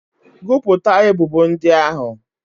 Gụpụta ebubo ndị ahụ!